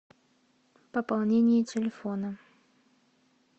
пополнение телефона